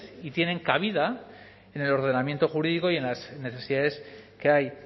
y tienen cabida en el ordenamiento jurídico y en las necesidades que hay